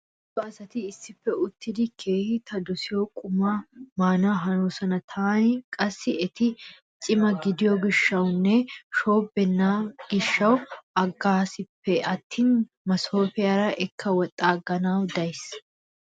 Heezzu asati issippe uttidi keehi ta dosiyo qumaa maana hanoosona. Taani qassi eti cima gidiyo gishshwunne shoobbibeenna gishshawu aggaasippe attin masoofiyara ekka woxxaaggana days.